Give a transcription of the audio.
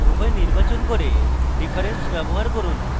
উভয় নির্বাচন করুন এবং difference ব্যবহার করুন